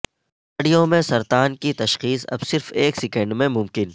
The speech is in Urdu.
انتڑیوں میں سرطان کی تشخیص اب صرف ایک سیکنڈ میں ممکن